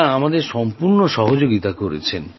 এঁরা আমাদের সম্পূর্ণ সহযোগিতা করেছে